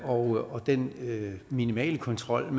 og den minimale kontrol